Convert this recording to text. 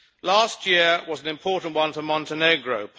Last year was an important one for Montenegro.